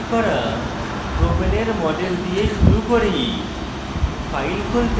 পূর্বে তৈরী করা propane propane এর model দিয়ে শুরু করি